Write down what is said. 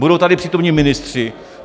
Budou tady přítomni ministři.